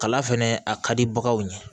Kala fɛnɛ a ka di baganw ɲɛ